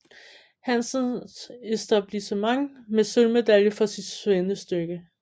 Hansens Etablissement med sølvmedalje for sit svendestykke